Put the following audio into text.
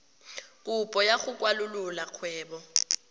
kopo ya go kwalolola kgwebo